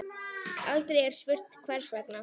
Aldrei er spurt hvers vegna.